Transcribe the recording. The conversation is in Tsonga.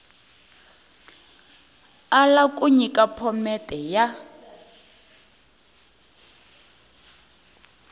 ala ku nyika phomete ya